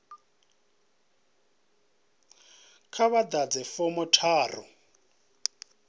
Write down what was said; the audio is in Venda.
kha vha ḓadze fomo tharu